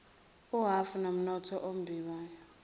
uhhafu womnotho ombiwayo